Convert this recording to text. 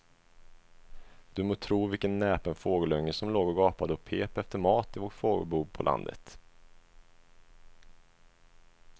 Du må tro vilken näpen fågelunge som låg och gapade och pep efter mat i vårt fågelbo på landet.